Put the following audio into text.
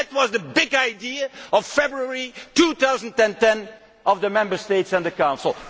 That was the big idea in February 2010 of the Member States and the Council.